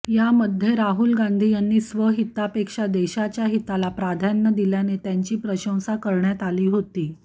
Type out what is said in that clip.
यामध्ये राहुल गांधी यांनी स्वहितापेक्षा देशाच्या हिताला प्राधान्य दिल्याने त्यांची प्रशंसा करण्यात आली होती